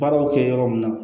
Baaraw bɛ kɛ yɔrɔ min na